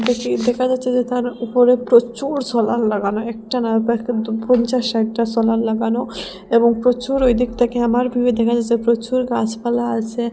দেখি দেখা যাচ্ছে যে তার উপরে প্রচুর সোলার লাগানো একটা না প্রায় কিন্তু পঞ্চাশ ষাটটা সোলার লাগানো এবং প্রচুর ঐ দিক থেকে আমার ভিউয়ে দেখা যাস্যে প্রচুর গাছপালা আসে।